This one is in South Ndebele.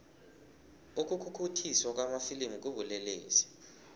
ukukhukhuthiswa kwamafilimu kubulelesi